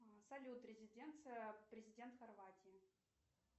салют резиденция президента хорватии